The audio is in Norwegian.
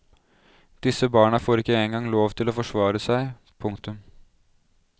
Disse barna får ikke engang lov til å forsvare seg. punktum